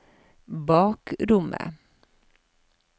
bakrommet